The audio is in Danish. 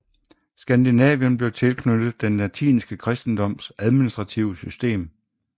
Skandinavien bliver tilknyttet den latinske kristendoms administrative system